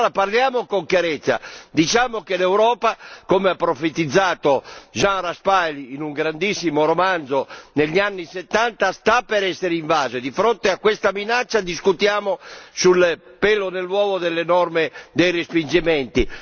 Parliamo allora con chiarezza diciamo che l'Europa, come ha profetizzato Jean Raspail in un grandissimo romanzo negli anni '70, sta per essere invasa e di fronte a questa minaccia, noi discutiamo del pelo nell'uovo delle norme dei respingimenti.